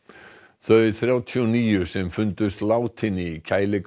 þau þrjátíu og níu sem fundust látin í